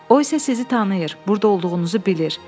O isə sizi tanıyır, burda olduğunuzu bilir.